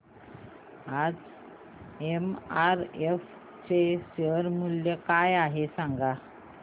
आज एमआरएफ चे शेअर मूल्य काय आहे सांगा